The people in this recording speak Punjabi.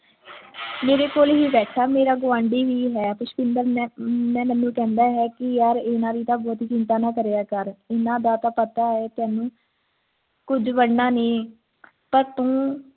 ਮੇਰੇ ਕੋਲ ਹੀ ਬੈਠਾ ਮੇਰਾ ਗੁਆਂਢੀ ਵੀ ਹੈ ਪੁਸ਼ਪਿੰਦਰ ਮੈਂ ਮੈਂ ਮੈਨੂੰ ਕਹਿੰਦਾ ਹੈ ਯਾਰ ਇਹਨਾਂ ਦੀ ਤੇ ਬਹੁਤੀ ਚਿੰਤਾ ਨਾ ਕਰਿਆ ਕਰ ਇਨ੍ਹਾਂ ਦਾ ਤਾਂ ਪਤਾ ਹੈ ਤੈਨੂੰ ਕੁਝ ਬਣਨਾ ਨਹੀਂ ਤਾਂ ਤੂੰ